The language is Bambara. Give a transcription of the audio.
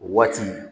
O waati